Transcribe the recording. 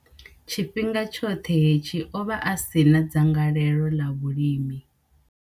Tshifhinga tshoṱhe hetshi, o vha a si na dzangalelo ḽa vhulimi.